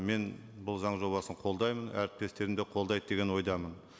мен бұл заң жобасын қолдаймын әріптестерім де қолдайды деген ойдамын